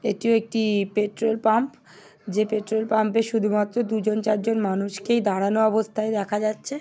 এটি একটিই petrol pump যে পেট্রোল পাম্পে শুধুমাত্র দুজন চারজন মানুষকেই দাঁড়ানো অবস্থায় দেখা যাচ্ছে।